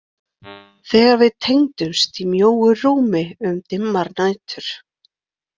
Þegar við tengdumst í mjóu rúmi um dimmar nætur.